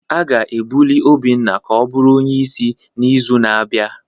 A ga-ebuli Obinna ka ọ bụrụ onye isi n'izu na-abịa